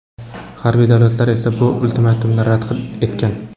G‘arbiy davlatlar esa bu ultimatumni rad etgan.